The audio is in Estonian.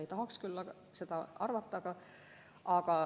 Ei tahaks küll seda arvata.